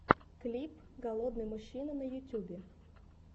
клип голодный мужчина на ютьюбе